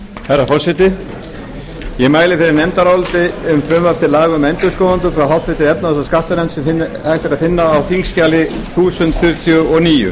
herra forseti ég mæli fyrir nefndaráliti um frumvarp til laga um endurskoðendur frá efnahags og skattanefnd sem hægt er að finna á þingskjali þúsund fjörutíu og níu á